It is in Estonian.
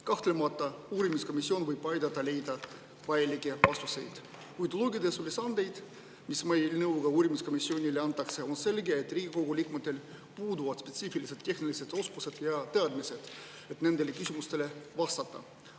Kahtlemata uurimiskomisjon võib aidata leida vajalikke vastuseid, kuid uurides ülesandeid, mis eelnõu kohaselt uurimiskomisjonile antakse, on selge, et Riigikogu liikmetel puuduvad spetsiifilised tehnilised oskused ja teadmised, et nendele küsimustele vastata.